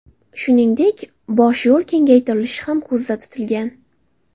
Shuningdek, bosh yo‘l kengaytirilishi ham ko‘zda tutilgan.